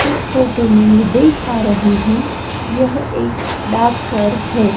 इस फोटो में मैं देख पा रही हूं यह एक डाक घर है।